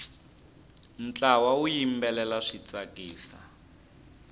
ntlawa wu yimbelela swi tsakisa